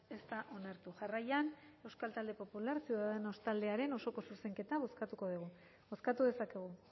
ez da onartu jarraian euskal talde popular ciudadanos taldearen osoko zuzenketa bozkatuko dugu bozkatu dezakegu